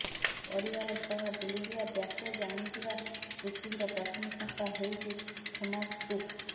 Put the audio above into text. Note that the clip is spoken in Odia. ପରିବାର ସହ ବୁଲିଯିବା ପ୍ୟାକେଜ୍ ଆଣିଥିବା ପୃଥିବୀର ପ୍ରଥମ ସଂସ୍ଥା ହେଉଛି ଥୋମାସ୍ କୁକ୍